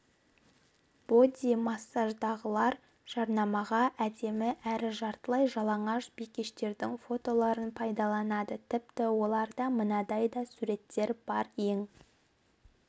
боди-массаждағылар жарнамаға әдемі әрі жартылай жалаңаш бикештердің фотоларын пайдаланады тіпті оларда мынадай да сурет бар ең